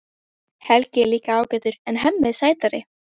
Helgi er líka ágætur en Hemmi er sætari.